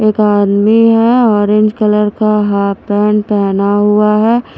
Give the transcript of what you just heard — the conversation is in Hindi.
एक आदमी है ऑरेंज कलर का हाफ पैंट पहना हुआ है।